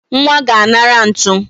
Nwa ga-anara ntu